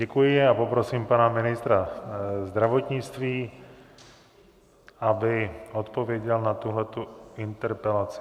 Děkuji a poprosím pana ministra zdravotnictví, aby odpověděl na tuhle interpelaci.